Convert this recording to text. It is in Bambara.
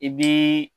I bii